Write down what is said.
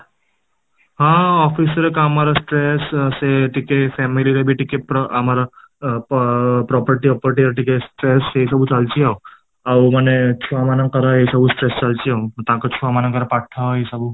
ହଁ, ଅଫିସ ରେ କାମ ର stress ତ ସେ ଟିକେ family ରେ ଟିକେ ଆମର ଅ property ବି ର ଟିକେ stress ଏଇ ସବୁ ଚାଲିଛି ଆଉ, ଆଉ ମାନେ ଛୁଆ ମାନଙ୍କର ଏଇ ସବୁ stress ଚାଲଛି ଆଉ ତାଙ୍କ ଛୁଆ ମାନଙ୍କ ର ପାଠ ଏଇ ସବୁ